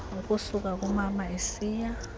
ukusuka kumama isiya